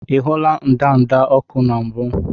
Ị hụla ndanda ọkụ na mbụ?